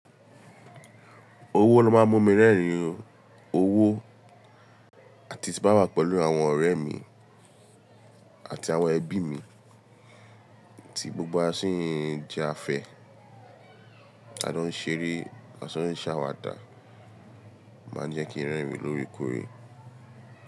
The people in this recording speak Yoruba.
Owó ló máa ń mú mi rẹ́rìn-ín o. Owó àti tí bá wà pẹ̀lú àwọn ọ̀rẹ́ mi àti àwọn ẹbí mi tí gbogbo wa sì ń jẹ́ afẹ́, a jọ́ ń ṣeré, a jọ́ ń ṣàwàdà ó máa ń jẹ́ kí n rẹ́rìn lórèkòòrè.